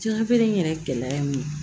Jafeere in yɛrɛ gɛlɛya ye mun ye